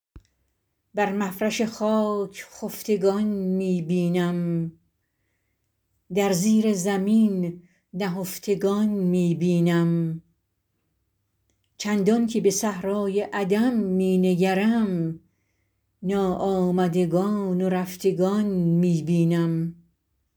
بر مفرش خاک خفتگان می بینم در زیر زمین نهفتگان می بینم چندان که به صحرای عدم می نگرم ناآمدگان و رفتگان می بینم